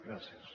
gràcies